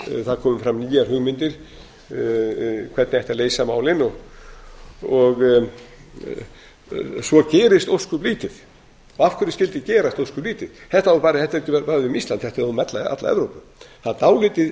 það komu fram nýjar hugmyndir um hvernig ætti að leysa málin svo gerist ósköp lítið af hverju skyldi gerast ósköp lítið þetta á ekki bara við um ísland þetta á við um alla evrópu það eru dálítið